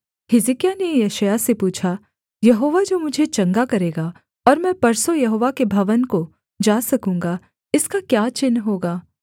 हिजकिय्याह ने यशायाह से पूछा यहोवा जो मुझे चंगा करेगा और मैं परसों यहोवा के भवन को जा सकूँगा इसका क्या चिन्ह होगा